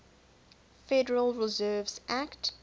federal reserve act